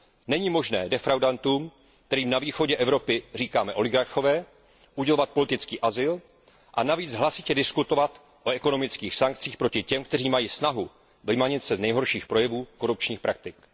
Není možné defraudantům, kterým na východě Evropy říkáme oligarchové, udělovat politický azyl a navíc hlasitě diskutovat o ekonomických sankcích proti těm, kteří mají snahu vymanit se z nehorších projevů korupčních praktik.